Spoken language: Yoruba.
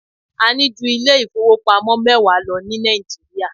A ní ju ilé ìfowópamọ́ mẹwa lọ ní Nàìjíríà.